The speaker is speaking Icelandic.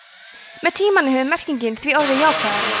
með tímanum hefur merkingin því orðið jákvæðari